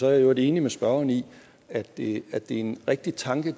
er i øvrigt enig med spørgeren i at det er en rigtig tanke at